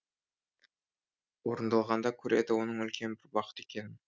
орындалғанда көреді оның үлкен бір бақыт екенін